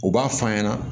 U b'a f'a ɲɛna